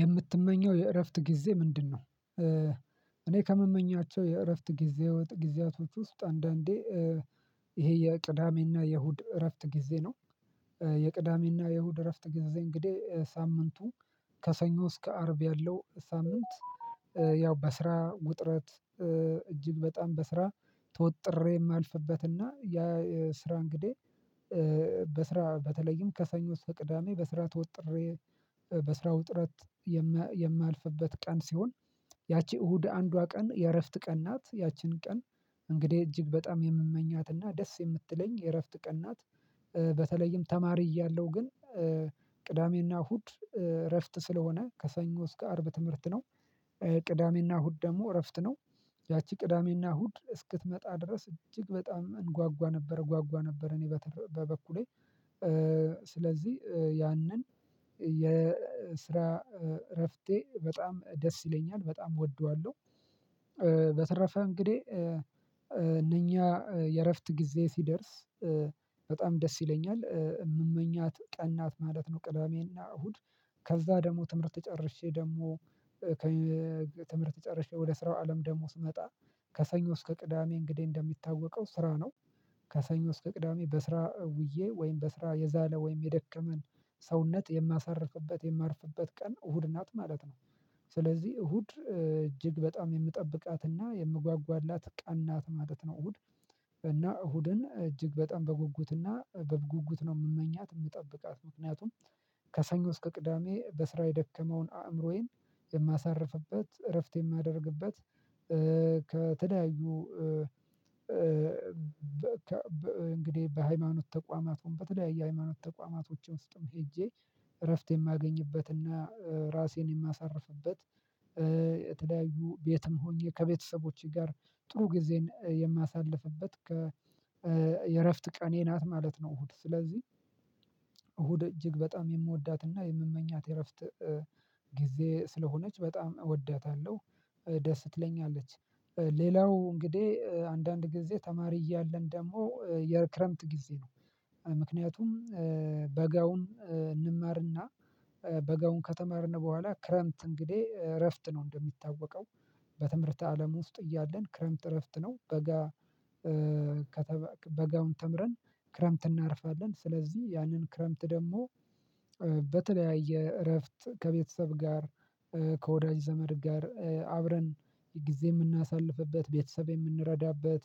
የምትመኘው የእረፍት ጊዜ ምንድነው? እኔ ከምመኛቸው የእረፍት ጊዜ ጊዜያቶች ውስጥ አንዳንዴ ይሄ የቅዳሜና የእሁድ እረፍት ጊዜ ነው። የቅዳሜና የእሁድ እረፍት ጊዜ እንግዲህ ሳምንቱ ከሰኞ እስከ አርብ ያለው ሳምንት ያው በስራ ውጥረት እጅግ በጣም በስራ ተወጥሬ የማልፍበት እና ያ ስራ እንግዲህ በስራ በተለይም ከሰኞ እስከ ቅዳሜ በስራ ተወጥሬ በስራው ውጥረት የማ የማልፍበት ቀን ሲሆን ያቺ እሁድ አንዷ ቀን የእረፍት ቀን ናት ያቺን ቀን እንግዲህ እጅግ በጣም የምመኛትና ደስ የምትለኝ የእረፍት ቀን ናት። በተለይም ተማሪ እያለሁ ግን ቅዳሜና እሁድ እረፍት ስለሆነ ከሰኞ እስከ አርብ ትምህርት ነው ቅዳሜና እሁድ ደግሞ እረፍት ነው። ያቺ ቅዳሜና እሁድ እስክትመጣ ድረስ እጅግ በጣም እንጓጓ ነበር እጓጓ ነበር እኔ በበኩሌ ስለዚህ ያንን የስራ እረፍቴ በጣም ደስ ይለኛል በጣም እወደዋለሁ። በተረፈ እንግዲህ እነኛ የእረፍት ጊዜ ሲደርስ በጣም ደስ ይለኛል የምመኛት ቀን ናት ማለት ነው። ቅዳሜና እሁድ ከዛ ደግሞ ትምህርት ጨርሼ ደግሞ ተይ ትምህርት ጨርሼ ወደ ስራው አለም ደግሞ ስመጣ ከሰኞ እስከ ቅዳሜ እንግዲህ እንደሚታወቀው ስራ ነው። ከሰኞ እስከ ቅዳሜ በስራ ውዬ ወይም በስራ የዛለ ወይም የደከመን ሰውነት የማሳርፍበት የማርፍበት ቀን እሁድ ናት ማለት ነው። ስለዚህ እሁድ እጅግ በጣም የምጠብቃትና የምጓጓላት ቀን ናት ማለት ነው። እሁድ እና እሁድን እጅግ በጣም በጉጉትና በጉጉት ነው የምመኛት የምጠብቃት ምክንያቱም ከሰኞ እስከ ቅዳሜ በስራ የደከመውን አእምሮዬን የማሳርፍበት እረፍት የማደርግበት ከተለያዩ በ ከ ብ እንግዲህ በሃይማኖት ተቋማቱን በተለያየ ሃይማኖት ተቋማቶች ውስጥም ሄጄ እረፍት የማገኝበትና ራሴን የማሳርፍበት የተለያዩ ቤትም ሆኜ ከቤተሰቦቼ ጋር ጥሩ ጊዜን የማሳልፍበት ከ የእረፍት ቀኔ ናት ማለት ነው። እሁድ ስለዚህ እሁድ እጅግ በጣም የምወዳትና የምመኛት የእረፍት ጊዜዬ ስለሆነች በጣም እወዳታለሁ። ደስ ትለኛለች ለ ሌላው እንግዲህ አንዳንድ ጊዜ ተማሪ እያለን ደግሞ የክረምት ጊዜ ነው ምክንያቱም በጋውን እንማርና በጋውን ከተማርን በኋላ ክረምት እንግዲህ እረፍት ነው። እንደሚታወቀው በትምህርተ አለም ውስጥ እያለን ክረምት እረፍት ነው። በጋ በጋውን ተምረን ክረምት እናርፋለን ስለዚህ ያንን ክረምት ደግሞ በተለያየ እረፍት ከቤተሰብ ጋር ከወዳጅ ዘመድ ጋር አብረን ጊዜ የምናሳልፍበት ቤተሰብ የምንረዳበት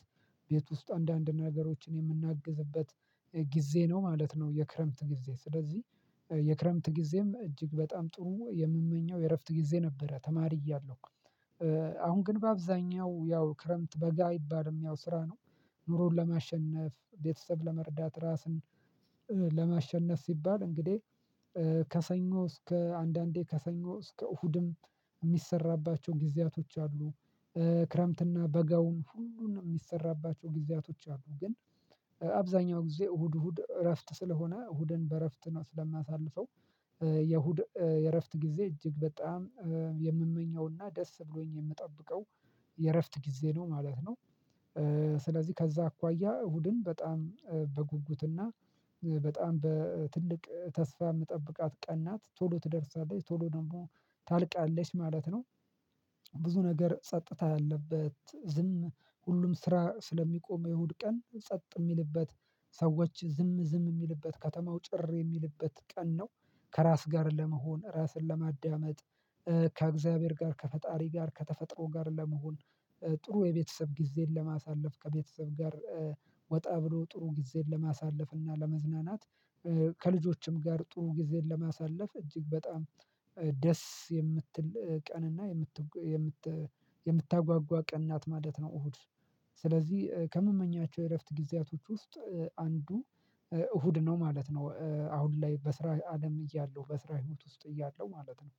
ቤት ውስጥ አንዳንድ ነገሮችን የምናግዝበት ጊዜ ነው ማለት ነው። የክረምት ጊዜ ስለዚህ የክረምት ጊዜም እጅግ በጣም ጥሩ የምመኘው የእረፍት ጊዜ ነበረ ተማሪ እያለሁ አሁን ግን በአብዛኛው ያው ክረምት በጋ አይባልም ያው ስራ ነው። ኑሮን ለማሸነፍ ቤተሰብ ለመርዳት ራስን ለማሸነፍ ሲባል እንግዲህ ከሰኞ እስከ አንዳንዴ ከሰኞ እስከ እሁድም የሚሰራባቸው ጊዜያቶች አሉ። ክረምትና በጋውን ሁሉንም የሚሰራባቸው ጊዜያቶች አሉ ግን አብዛኛው ጊዜ እሁድ እሁድ እረፍት ስለሆነ እሁድን በእረፍት ነው ስለማሳልፈው። የእሁድ የእረፍት ጊዜ እጅግ በጣም የምመኘውና ደስ ብሎኝ የምጠብቀው የእረፍት ጊዜ ነው ማለት ነው። ስለዚህ ከዛ አኳያ እሁድን በጣም በጉጉትና በጣም በትልቅ ተስፋ የምጠብቃት ቀን ናት ቶሎ ትደርሳለች ቶሎ ደግሞ ታልቃለች ማለት ነው። ብዙ ነገር ጸጥታ ያለበት ዝም ሁሉም ስራ ስለሚቆም የእሁድ ቀን ጸጥ የሚልበት ሰዎች ዝም ዝም የሚልበት ከተማው ጭር የሚልበት ቀን ነው። ከራስ ጋር ለመሆን ራስን ለማዳመጥ ከእግዚአብሔር ጋር ከፈጣሪ ጋር ከተፈጥሮ ጋር ለመሆን ጥሩ የቤተሰብ ጊዜን ለማሳለፍ ከቤተሰብ ጋር ወጣ ብሎ ጥሩ ጊዜን ለማሳለፍ እና ለመዝናናት ከልጆችም ጋር ጥሩ ጊዜን ለማሳለፍ እጅግ በጣም ደስ የምትል ቀንና የምት የምት የምታጓጓ ቀን ናት ማለት ነው። እሁድ ስለዚህ ከምመኛቸው የእረፍት ጊዜያቶች ውስጥ አንዱ እሁድ ነው ማለት ነው። አሁን ላይ በስራ አለም እያለው በስራ ህይወት ውስጥ እያለው ማለት ነው።